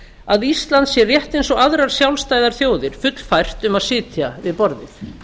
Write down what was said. að ísland sé rétt eins og aðrar sjálfstæðar þjóðir fullfært um að sitja við borðið